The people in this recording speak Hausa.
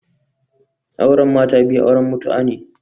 Auren mata biyu auren mutu'a ne